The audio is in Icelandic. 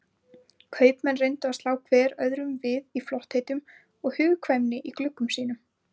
Kaupmenn reyndu að slá hver öðrum við í flottheitum og hugkvæmni í gluggum sínum.